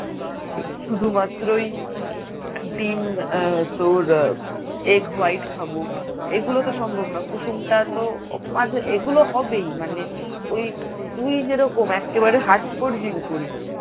শুধু মাত্রই ডিম আহ তোর আহ eeg white খাবো এগুলো তো সম্ভব না কুসুমটা তো এগুলো হবেই মানে ওই তুই যেরকম এক্কেবারে hardcore gym করিস